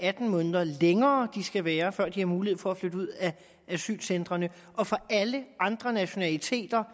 atten måneder længere de skal være her før de har mulighed for at flytte ud af asylcentrene og for alle andre nationaliteter